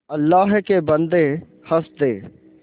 अल्लाह के बन्दे हंस दे